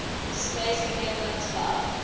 displays benevolent love